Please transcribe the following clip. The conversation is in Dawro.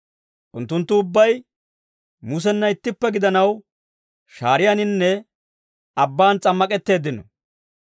Unttunttu ubbay Mussenna ittippe gidanaw, shaariyaaninne abbaan s'ammak'etteeddino.